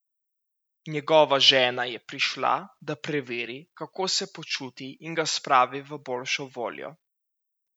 Njegova žena je prišla, da preveri, kako se počuti in ga spravi v boljšo voljo.